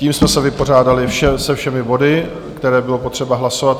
Tím jsme se vypořádali se všemi body, které bylo potřeba hlasovat.